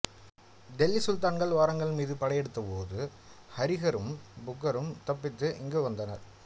தில்லி சுல்தான்கள் வாரங்கல் மீது படையெடுத்தபோது ஹரிஹரரும் புக்கரும் தப்பித்து இங்கு வந்தனர்